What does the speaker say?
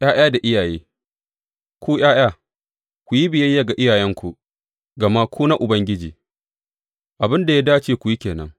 ’Ya’ya da iyaye Ku ’ya’ya, ku yi biyayya ga iyayenku, gama ku na Ubangiji, abin da ya dace ku yi ke nan.